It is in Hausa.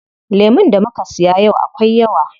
Lemun da muka siya yau akwai yawa.